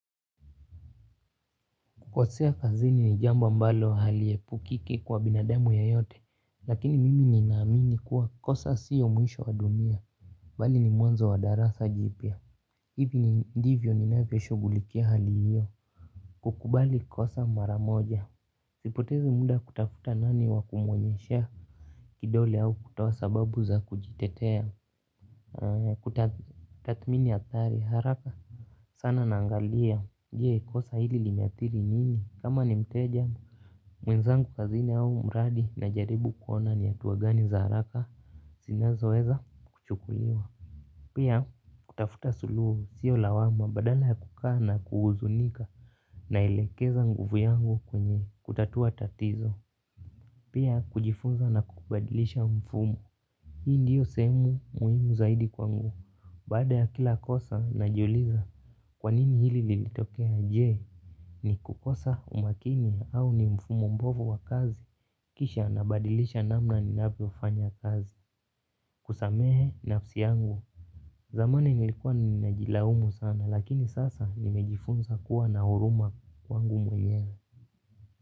Kukosea kazini ni jambo ambalo haliyepukiki kwa binadamu yeyote. Lakini, mimi ninaamini kuwa kosa siyo mwisho wa dunia. Mbali ni mwanzo wa darasa jipya. Hivi ndivyo ni ninavyoshugulikia hali hiyo. Kukubali kosa maramoja. Sipotezi muda kutafuta nani wa kumuoenyeshea kidole au kutoa sababu za kujitetea. Kutathmini hatari haraka sana naangalia. Je, kosa hili limeathiri nini? Kama ni mteja. Mwenzangu kazini au mradi na jaribu kuona ni hatua gani za haraka. Zinazo weza kuchukuliwa. Pia, kutafuta suluhu siyo lawama badala ya kukaa na kuhuzunika naelekeza nguvu yangu kwenye kutatua tatizo. Pia kujifunza na kubadilisha mfumu. Hii ndiyo sehemu muhimu zaidi kwangu. Baada ya kila kosa najiuliza. Kwa nini hili lilitokea? Je, ni kukosa umakini? Au ni mfumo mbovu wa kazi? Kisha, nabadilisha namna ninapofanya kazi. Kusamehe nafsi yangu. Zamani, nilikuwa ninajilaumu sana lakini sasa, nimejifunza kuwa na huruma kwangu mwenyewe.